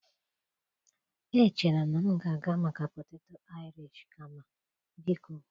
Echere m na m ga-aga maka poteto Irish kama. Biko